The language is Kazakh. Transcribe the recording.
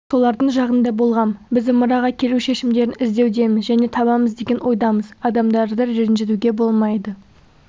солардың жағында болғам біз ымыраға келу шешімдерін іздеудеміз және табамыз деген ойдамыз адамдарды ренжітуге болмайды